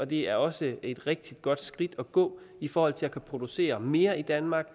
det er også et rigtig godt skridt at gå i forhold til at kunne producere mere i danmark og